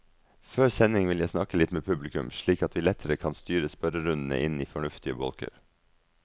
Før sending vil jeg snakke litt med publikum, slik at vi lettere kan styre spørrerundene inn i fornuftige bolker.